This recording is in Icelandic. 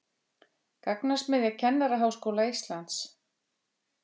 Gagnasmiðja Kennaraháskóla Íslands